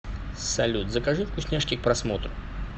салют закажи вкусняшки к просмотру